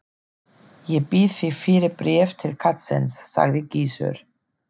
Ég bið þig fyrir bréf til karlsins, sagði Gizur.